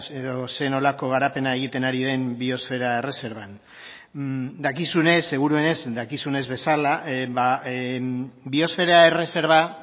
edo zer nolako garapena egiten ari den biosfera erreserban dakizunez seguruenez dakizunez bezala biosfera erreserba